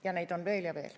Ja neid on veel ja veel.